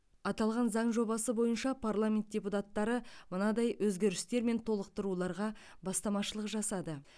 аталған заң жобасы бойынша парламент депутаттары мынадай өзгерістер мен толықтыруларға бастамашылық жасады